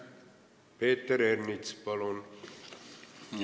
Peeter Ernits, palun!